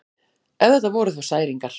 Ef þetta voru þá særingar.